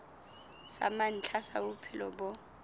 sa mantlha sa bophelo bo